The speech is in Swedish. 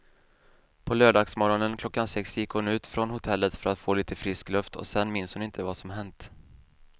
På lördagsmorgonen klockan sex gick hon ut från hotellet för att få lite frisk luft och sen minns hon inte vad som hänt.